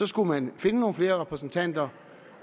skulle man finde nogle flere repræsentanter